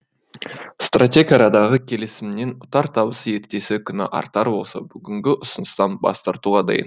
стратег арадағы келісімнен ұтар табысы ертесі күні артар болса бүгінгі ұсыныстан бас тартуға дайын